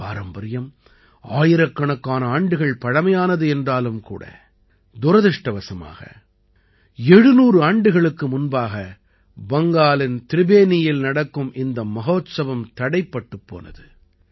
இந்தப் பாரம்பரியம் ஆயிரக்கணக்கான ஆண்டுகள் பழைமையானது என்றாலும் கூட துரதிர்ஷ்டவசமாக 700 ஆண்டுகளுக்கு முன்பாக பங்காலின் திரிபேனியில் நடக்கும் இந்த மஹோத்சவம் தடைப்பட்டுப் போனது